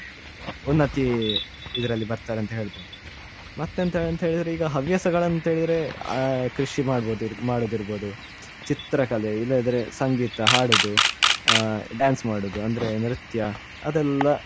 ಉನ್ನತಿ ಇದ್ರಲ್ಲಿ ಬರ್ತಾರೆ ಅಂತ ಹೇಳ್ಬಹುದು ಮತ್ತೆಂತ ಹೇಳಿದ್ರೆ ಈಗ ಹವ್ಯಾಸಗಳು ಅಂತ ಹೇಳಿದ್ರೆ ಅ ಕೃಷಿ ಮಾಡ್ಬು~ ಮಾಡುದಿರ್ಬಹುದು ಚಿತ್ರಕಲೆ ಇಲ್ಲದ್ರೆ ಸಂಗೀತ ಹಾಡುದು ಅ dance ಮಾಡುದು ಅಂದ್ರೆ ನೃತ್ಯ ಅದೆಲ್ಲ.